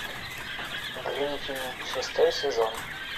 гриффины шестой сезон